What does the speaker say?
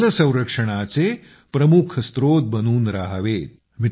ते जल संरक्षणाचे प्रमुख स्रोत बनून रहावेत